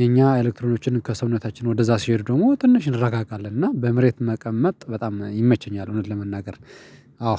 የኛ ኤሌክትሮኖችን ከሰውነታችን ወደዛ ሲሄዱ ደግሞ ትንሽ እንረጋጋለን እና በምሬት መቀመጥ በጣም ይመቸኛል እውነት ለመናገር። አዎ